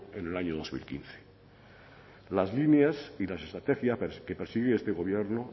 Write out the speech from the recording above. en el año dos mil quince las líneas y las estrategias que persigue este gobierno